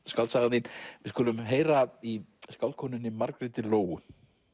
skáldsagan þín við skulum heyra í Margréti Lóu